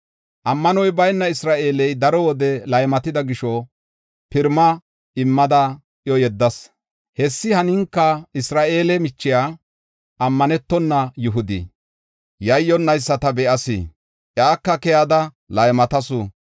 Ammanoy bayna Isra7eele daro wode laymatida gisho pirima immada iyo yeddas. Hessi haninka Isra7eele michiya, ammanetona Yihudi, yayyonnaysa ta be7as; iyaka keyada laymatasu.